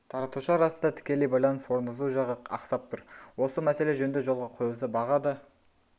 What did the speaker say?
таратушы арасында тікелей байланыс орнату жағы ақсап тұр осы мәселе жөнді жолға қойылса баға да